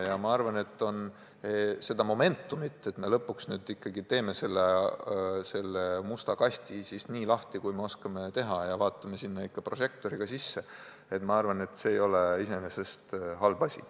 Ja ma arvan, et see, et me lõpuks nüüd ikkagi teeme selle musta kasti nii lahti, kui me oskame teha, ja vaatame sinna prožektori valgel sisse, ei ole iseenesest halb asi.